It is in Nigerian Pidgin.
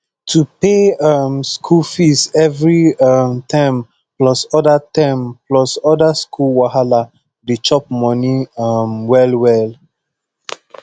to pay um school fee every um term plus other term plus other school wahala dey chop money um wellwell